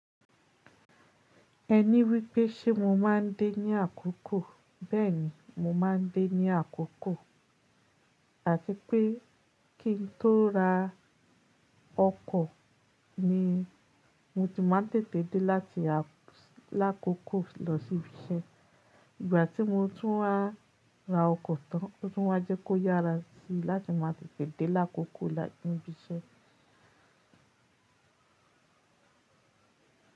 Ẹní wípé ṣe mo máa ń dé ní àkókò. Bẹ́ẹ̀ni, mo máa ń dé ní àkókò. Àti pé kí n tó ra ọkọ̀ ni mo ti máa ń tètè dé láti lákòókò lọ sí ibi iṣẹ́. Ìgbà tí mo tún wa ra ọkọ̀ tán, ó tún máa jẹ́ kó yára sí láti máa tètè dé lákòókò láti ibi iṣẹ́.